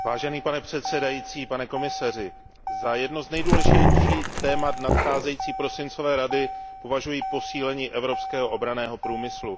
Pane předsedající, pane komisaři, za jedno z nejdůležitějších témat nadcházejícího prosincového zasedání Evropské rady považuji posílení evropského obranného průmyslu.